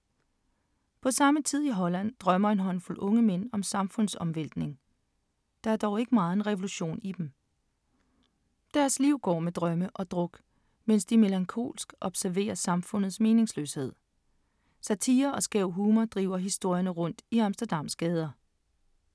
På samme tid i Holland drømmer en håndfuld unge mænd om samfundsomvæltning. Der er dog ikke megen revolution i dem. Deres liv går med drømme og druk, mens de melankolsk observerer samfundets meningsløshed. Satire og skæv humor driver historierne rundt i Amsterdams gader.